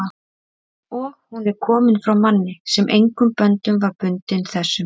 og hún er komin frá manni, sem engum böndum var bundinn þessum